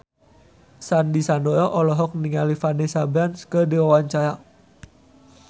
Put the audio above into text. Sandy Sandoro olohok ningali Vanessa Branch keur diwawancara